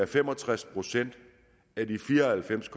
fem og tres procent af de fire og halvfems